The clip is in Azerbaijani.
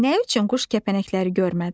Nə üçün quş kəpənəkləri görmədi?